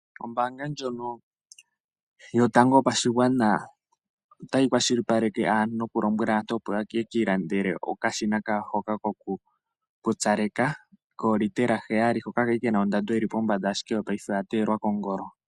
Ombaanga ndjono yotango yopadhigwana otayi kwashilipaleke noku lombwela aantu opo yeki landele okashina kawo hoka koku pupyaleka koolitela heyali, hoka kali kena ondando yili pombanda ashike ngashi ngeyi ondando oya teyelwa kongolo.